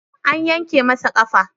An yanke masa ƙafa